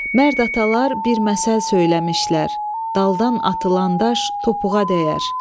Mərd atalar bir məsəl söyləmişlər: Daldan atılan daş topuğa dəyər.